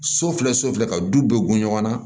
So filɛ so filɛ ka du bɛɛ gun ɲɔgɔn na